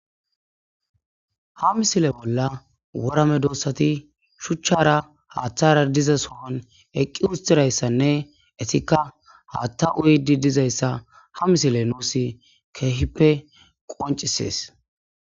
Ha misile bolla wora medosati shuchchara haathara dizasoon eqqi uttidaysanne eetika haaththa uyidi dizaysa ha misiley nuusi keehippe qoncisees.